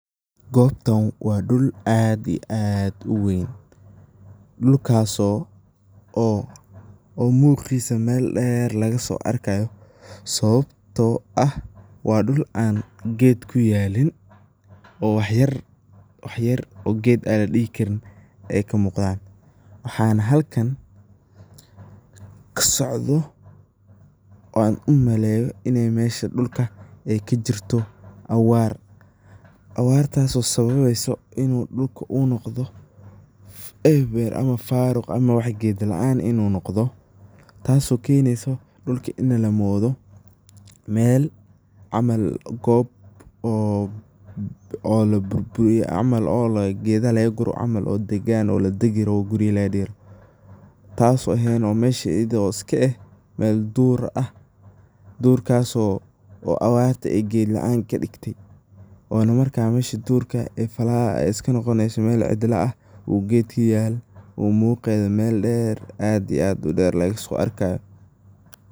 Gobtan waa dhul aad iyo aad u weyn, dhulkaso ,dhulkaso oo muqisa mel dheer laga so arkayo sababto ah wa dhul aan ged kuyelin, oo wax yar wax yar ged an ladihi karin ay ka muqdan waxana ka socdo oona u maleyo mesho dhulka ay kajirto awaar ,abartaas oo sababeso inu dhulka u noqdo eber ama faruq ama ged laan inu noqdo taso kenesa dhulka inu noqdo mel ama gob oo laburburiye camal oo gedaha lagagure oo degan oo gedaha laga gure oo ladagi rabo. Taso ehen oo iska ah mel dur ah ,durkaso oo abarta ay ged laan kadigte oona markas mesha durkas ay iska noqonesa mel cidla ah oo ged an ged kuyalin oo muqeda mel dher oo aad iyo aad u dher lagaso arkayo.